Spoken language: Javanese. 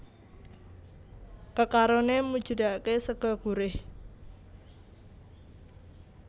Kekaroné mujudaké sega gurih